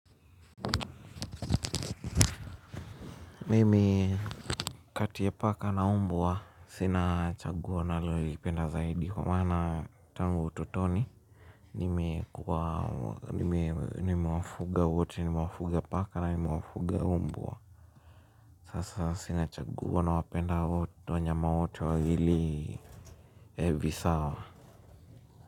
Mimi kati ya paka na umbwa sina chagua ninalolipenda zaidi kwa maana tangu utotoni. Nimewafuga wote, nimewafuga paka na nimewafuga mbwa. Sasa sina chaguo nawapenda wote wanyama wote wawili visawa.